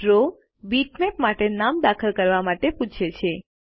draw bitmap માટે નામ દાખલ કરવા માટે પૂછે છે